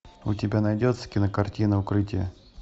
у тебя найдется кинокартина укрытие